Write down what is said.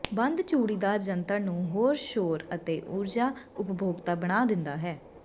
ਬੰਦ ਚੂੜੀਦਾਰ ਜੰਤਰ ਨੂੰ ਹੋਰ ਸ਼ੋਰ ਅਤੇ ਊਰਜਾ ਉਪਭੋਗਤਾ ਬਣਾ ਦਿੰਦਾ ਹੈ